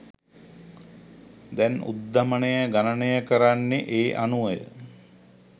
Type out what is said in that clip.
දැන් උද්ධමනය ගණනය කරන්නේ ඒ අනුවය